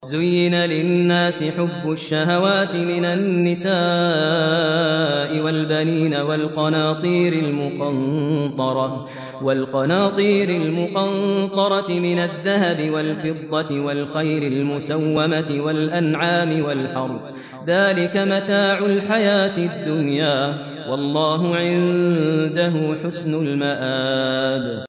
زُيِّنَ لِلنَّاسِ حُبُّ الشَّهَوَاتِ مِنَ النِّسَاءِ وَالْبَنِينَ وَالْقَنَاطِيرِ الْمُقَنطَرَةِ مِنَ الذَّهَبِ وَالْفِضَّةِ وَالْخَيْلِ الْمُسَوَّمَةِ وَالْأَنْعَامِ وَالْحَرْثِ ۗ ذَٰلِكَ مَتَاعُ الْحَيَاةِ الدُّنْيَا ۖ وَاللَّهُ عِندَهُ حُسْنُ الْمَآبِ